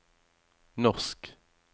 norsk